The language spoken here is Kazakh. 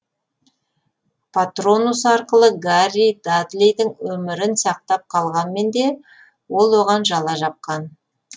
патронус арқылы гарри дадлидің өмірін сақтап қалғанмен де ол оған жала жапқан